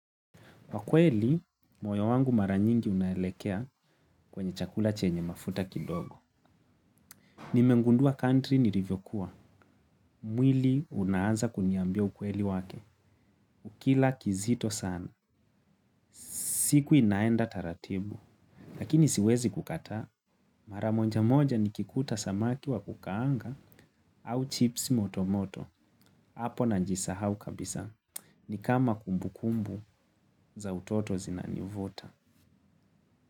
Kwakweli, moyo wangu mara nyingi unaelekea kwenye chakula chenye mafuta kidogo. Nimengundua country nilivyokuwa. Mwili unaanza kuniambia ukweli wake. Ukila kizito sana. Siku inaenda taratibu. Lakini siwezi kukata. Mara moja moja nikikuta samaki wa kukaanga au chips motomoto. Apo najisahau kabisa. Ni kama kumbukumbu za utoto zinanivuta.